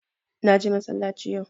Na je massalaci yau